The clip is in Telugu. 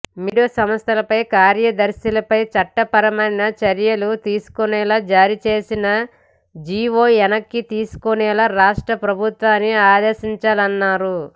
మీడియా సంస్థలపై కార్యదర్శులపై చట్టపరమైన చర్యలు తీసుకునేలా జారీ చేసిన జీవో వెనక్కి తీసుకునేలా రాష్ట్ర ప్రభుత్వాన్ని ఆదేశించాలన్నారు